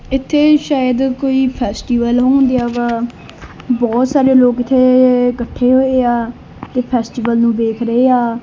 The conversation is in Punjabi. ਇਥੇ ਸ਼ਾਇਦ ਕੋਈ ਫੈਸਟੀਵਲ ਹੋਣ ਡਿਆ ਏ ਬਹੁਤ ਸਾਰੇ ਲੋਕ ਇਥੇ ਇਕੱਠੇ ਹੋਏ ਆ ਤੇ ਫੈਸਟੀਵਲ ਨੂੰ ਵੇਖ ਰਹੇ ਆ।